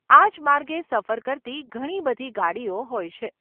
આજ માર્ગે સફર કરતી ઘણી બધી ગાડીઓ હોય છે.